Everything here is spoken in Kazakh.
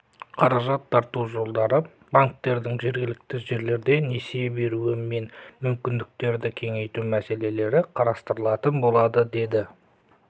қаражат тарту жолдары банктердің жергілікті жерлерде несие беруі мен мүмкіндіктерді кеңейту мәселелері қарастырылатын болады деді